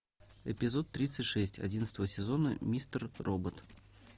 эпизод тридцать шесть одиннадцатого сезона мистер робот